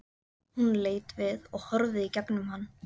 Hún leit við og horfði í gegnum hann.